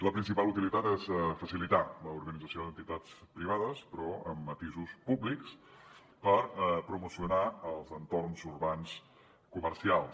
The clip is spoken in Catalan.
la principal utilitat és facilitar l’organització d’entitats privades però amb matisos públics per promocionar els entorns urbans comercials